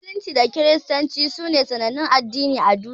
Musulunci da Kiristanci sune sanannun Addinai a duniya.